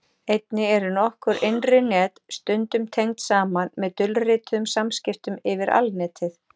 Einnig eru nokkur innri net stundum tengd saman með dulrituðum samskiptum yfir Alnetið.